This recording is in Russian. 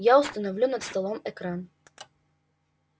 я установлю над столом экран